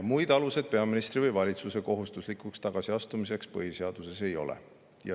Muid aluseid peaministri või valitsuse kohustuslikuks tagasiastumiseks põhiseaduses ei ole.